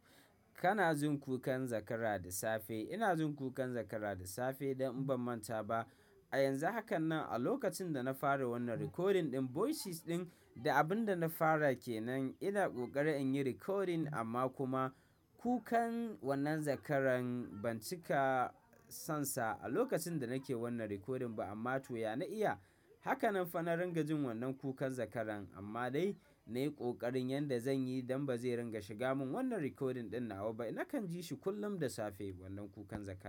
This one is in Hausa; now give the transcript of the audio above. Kana jin kukan zakara da safe. Ina jin kukan zakara da safe don in ban manta ba. A yanzu hakan nan a lokacin da na fara wannan recording ɗin voices ɗin da abin da na fara ke nan ina ƙoƙarin in yi recording amma kuma kukan wannan zakaran ban cika sonsa a lokacin da nake wannan recording ba amma to ya na iya. Haka nan fa na ringa jin wannan kukan zakaran amma dai na yi ƙoƙarin yadda zan yi don ba zai ringa shiga min wannan recording ɗin nawa ba. Nakan ji shi kullum da safe wannan kukan zakara.